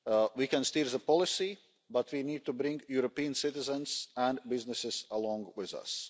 We can steer the policy but we need to bring European citizens and businesses along with us.